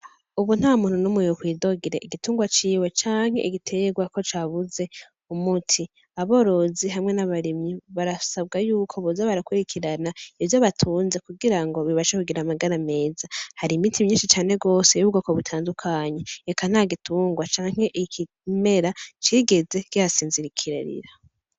Ubu ntamuntu numwe yokwidogera igitungwa ciwe canke igitegwa ko cabuze umuti aborozi hamwe n' abarimyi barasabwa yuko boza barakurikirana ivyo batunze kugirango bibashe kugira amagara meza hari imiti myinshi cane gose yubwobo butandukanye eka ntagitungwa canke ikimera cigeze kihasinzikarira.